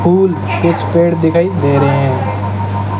फूल कुछ पेड़ दिखाई दे रहे हैं।